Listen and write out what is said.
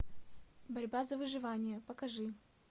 борьба за выживание покажи